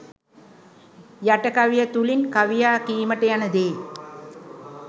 යට කවිය තුළින් කවියා කීමට යන දේ